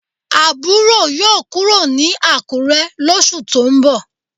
Aburo yoo kuro ni Akure losu to n bo